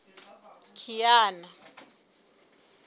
kiana